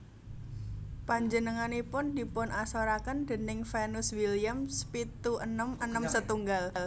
Panjenenganipun dipunasoraken déning Venus Williams pitu enem enem setunggal